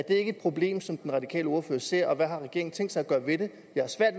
ikke et problem som den radikale ordfører ser og hvad har regeringen tænkt sig at gøre ved det